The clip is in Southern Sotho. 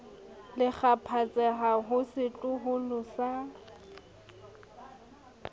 le kgaphatseha ho setloholo sa